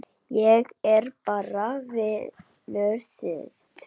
Ég er bara vanur því